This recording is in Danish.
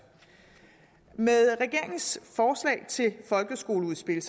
med regeringens folkeskoleudspil